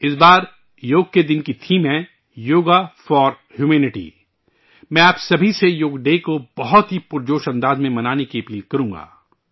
اس بار 'یوگ کے دن 'کا تھیم ہے یوگا فار ہیومنٹی ،میں آپ سبھی سےیوگ کے دن کو انتہائی جورش و خروش کے ساتھ منانے کی درخواست کروں گا